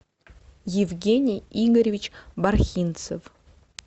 евгений игоревич бархинцев